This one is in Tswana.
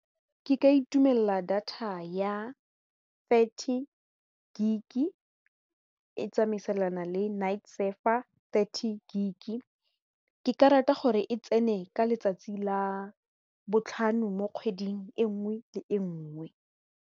Ke ka itumelela data ya thirty gig e tsamaisana le night server thirty gig ke ka rata gore e tsene ka letsatsi la botlhano mo kgweding e nngwe le e nngwe.